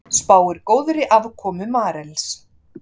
Spáir góðri afkomu Marels